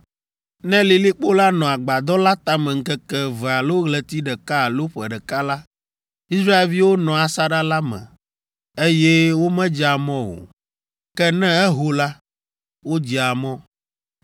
Ne lilikpo la nɔ agbadɔ la tame ŋkeke eve alo ɣleti ɖeka alo ƒe ɖeka la, Israelviwo nɔa asaɖa la me, eye womedzea mɔ o. Ke ne eho la, wodzea mɔ.